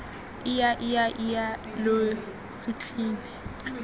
ija ija ija lo sutlhile